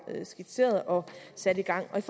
skitseret og sat i gang med